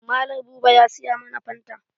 Mallam buba ya siya mana fanta.